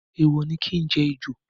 Èèwò ni ki jẹ ejò.